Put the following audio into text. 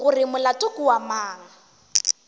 gore molato ke wa mang